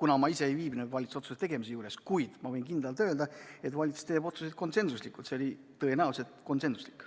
kuna ma ise ei viibinud valitsuse otsuse tegemise juures, kuid ma võin kindlalt öelda, et valitsus teeb otsuseid konsensuslikult ja see otsus oli tõenäoliselt konsensuslik.